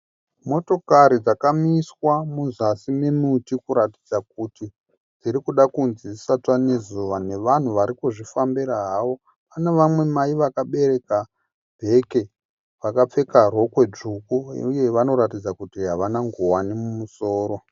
Motokari dzakamiswa muzasi memuti kuratidza kuti dzIrikuda kunzi dzisatsva nezuva nevanhu varikuzvifambira havo. Pane vamwe mai vakabereka bheke vakapfeka rokwe dzvuku uye vanoratidza kuti havana nguwani mumusoro.